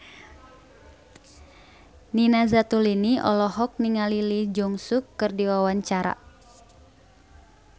Nina Zatulini olohok ningali Lee Jeong Suk keur diwawancara